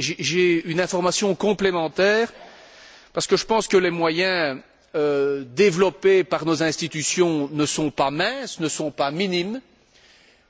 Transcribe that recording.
J'ai une information complémentaire, parce que je pense que les moyens développés par nos institutions ne sont pas minces, ne sont pas minimes,